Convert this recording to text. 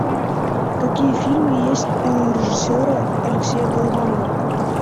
какие фильмы есть у режиссера алексея балабанова